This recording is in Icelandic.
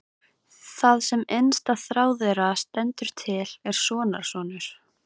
Það sem innsta þrá þeirra stendur til er sonarsonur.